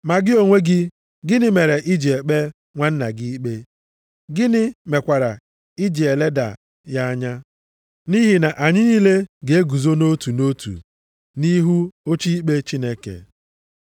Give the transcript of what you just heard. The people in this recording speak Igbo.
Ma gị onwe gị, gịnị mere i ji ekpe nwanna gị ikpe? Gịnị mekwara i ji eleda ya anya? Nʼihi na anyị niile ga-eguzo nʼotu nʼotu nʼihu oche ikpe Chineke.